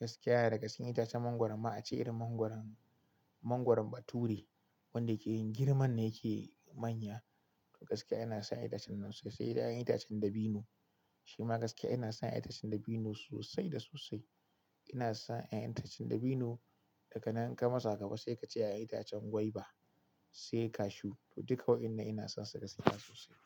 Gaskiya daga cikin itacen mangwaro ma ace irin mangwaron, mangwaron Bature wanda ke girman yake manya. To gaskiya ina son itacen nan sosai. Sai ƴaƴan itacen dabino shima gaskiya ina son itacen dabino sosai da sosai. Ina son ƴaƴan itacen dabino daga na ninka masa goma sai ka ce ƴaƴan itacen gwaiba sai cashew. To duka waɗannan ina sonsu gaskiya sosai.